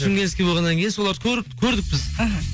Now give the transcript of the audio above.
шымкентский болғаннан кейін соларды көрдік біз іхі